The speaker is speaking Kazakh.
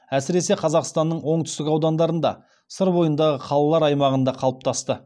әсіресе қазақстанның оңтүстік аудандарында сыр бойындағы қалалар аймағында қалыптасты